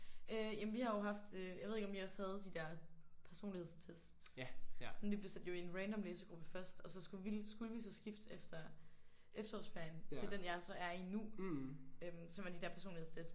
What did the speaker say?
Øh jamen vi har jo haft øh jeg ved ikke om I også havde de der personlighedstest. Sådan vi blev sat jo i en random læsegruppe først og så skulle vi skulle vi så skifte efter efterårsferien til den jeg så er i nu øh som er de der personlighedstests